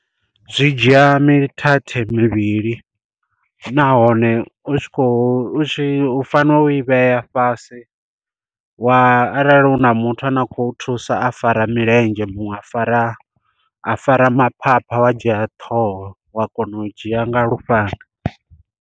Zwi dzhia mithathe mivhili nahone u tshi kho u tshi u fanela u i vhea fhasi, wa arali u na muthu ane a khou thusa a fara milenzhe muṅwe a fara a fara maphapha wa dzhia ṱhoho wa kona u dzhia nga lufhanga.